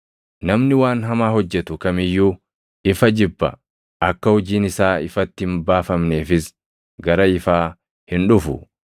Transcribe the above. Namni waan hamaa hojjetu kam iyyuu ifa jibba; akka hojiin isaa ifatti hin baafamneefis gara ifaa hin dhufu.